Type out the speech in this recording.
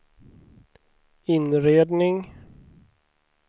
inredning